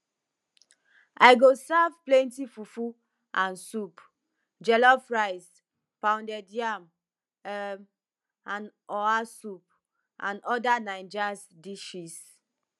i go serve plenty fufu and soup jollof rice pounded yam um and oha soup and oda naijas dishes